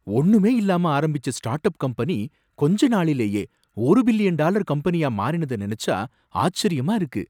ஒண்ணுமே இல்லாம ஆரம்பிச்ச ஸ்டார்டப் கம்பெனி கொஞ்ச நாளிலேயே ஒரு பில்லியன் டாலர் கம்பெனியா மாறினதை நினைச்சா ஆச்சரியமா இருக்கு.